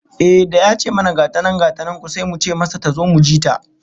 Ehh, da ya ce mana gata nan gata nan ku, sai muka ce masa tazo mu ji ta